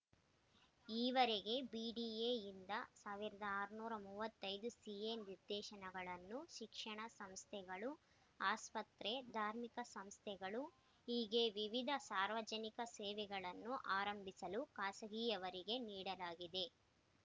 ಈವರೆಗೆ ಬಿಡಿಎಯಿಂದ ಸಾವಿರದ ಆರುನೂರ ಮೂವತ್ತೈದು ಸಿಎ ನಿವೇಶನಗಳನ್ನು ಶಿಕ್ಷಣ ಸಂಸ್ಥೆಗಳು ಆಸ್ಪತ್ರೆ ಧಾರ್ಮಿಕ ಸಂಸ್ಥೆಗಳು ಹೀಗೆ ವಿವಿಧ ಸಾರ್ವಜನಿಕ ಸೇವೆಗಳನ್ನು ಆರಂಭಿಸಲು ಖಾಸಗಿಯವರಿಗೆ ನೀಡಲಾಗಿದೆ